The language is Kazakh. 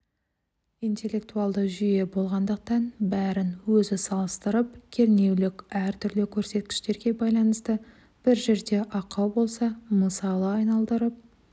интеллектуалды жүйе болғандықтан бәрін өзі салыстырып кернеулік әртүрлі көрсеткіштерге байланысты бір жерде ақау болса мысалы айналдырып